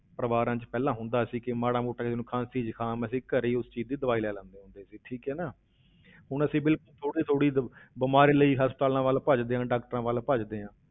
ਪਰਿਵਾਰਾਂ ਵਿੱਚ ਪਹਿਲਾਂ ਹੁੰਦਾ ਸੀ ਕਿ ਮਾੜਾ ਮੋਟਾ ਜਿਸਨੂੰ ਖ਼ਾਂਸੀ ਜੁਕਾਮ ਸੀ, ਘਰੇ ਹੀ ਉਸ ਚੀਜ਼ ਦੀ ਦਵਾਈ ਲੈ ਲੈਂਦੇ ਹੁੰਦੇ ਸੀ ਠੀਕ ਹੈ ਨਾ ਹੁਣ ਅਸੀਂ ਵੀ ਥੋੜ੍ਹੀ ਥੋੜ੍ਹੀ ਦ~ ਬਿਮਾਰੀ ਲਈ ਹਸਪਤਾਲਾਂ ਵੱਲ ਭੱਜਦੇ ਹਾਂ doctors ਵੱਲ ਭੱਜਦੇ ਹਾਂ